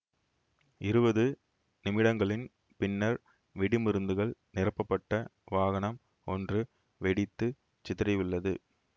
இருவது நிமிடங்களின் பின்னர் வெடிமருந்துகள் நிரப்பப்பட்ட வாகனம் ஒன்று வெடித்து சிதறியுள்ளது